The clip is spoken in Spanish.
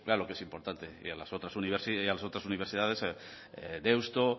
claro que es importante y a las otras universidades deusto